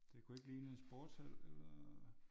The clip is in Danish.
Det kunne ikke ligne en sportshal eller?